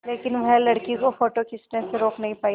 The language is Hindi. लेकिन वह लड़की को फ़ोटो खींचने से रोक नहीं पाई